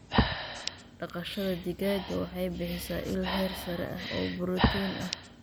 Dhaqashada digaaga waxay bixisaa il heer sare ah oo borotiin ah.